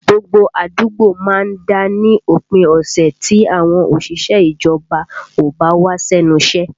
Gbogbo àdúgbò má ń dá ní òpin ọ̀sẹ̀ tí àwọn òṣìṣẹ́ ìjọba ò bá wá sẹ́nu iṣẹ́